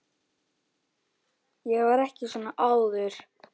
Ég var ekki svona áður.